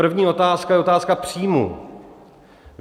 První otázka je otázka příjmů.